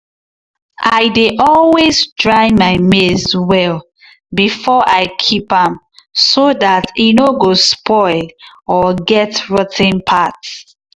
i dey always dry my maize well before i keep am so dat e no go spoil or get rot ten part.